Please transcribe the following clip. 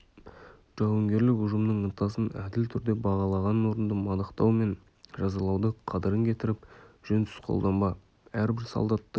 жауынгерлік ұжымның ынтасын әділ түрде бағалаған орынды мадақтау мен жазалауды қадірін кетіріп жөнсіз қолданба әрбір солдаттың